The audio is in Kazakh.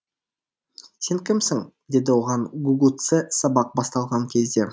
сен кімсің деді оған гугуцэ сабақ басталған кезде